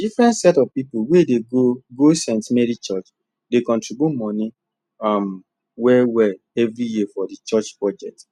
different set of people wey dey go go stmarys church dey contribute money um well well every year for the church budget